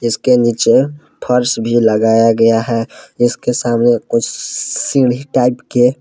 इसके नीचे फर्श भी लगाया गया है। इसके सामने कुछ सीढ़ी टाइप के--